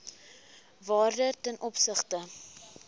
waarde ten opsigte